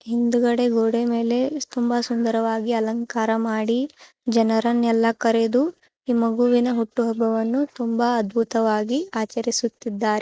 ಹಿಂದಗಡೆ ಗೊಡೆ ಮೇಲೆ ತುಂಬಾ ಸುಂದರವಾಗಿ ಅಲಂಕಾರ ಮಾಡಿ ಜನರನೆಲ್ಲ ಕರೆದು ಈ ಮಗುವಿನ ಹುಟ್ಟುಹಬ್ಬ ವನ್ನು ತುಂಬಾ ಅದ್ಭುತವಾಗಿ ಆಚರಿಸುತ್ತಿದರ್ --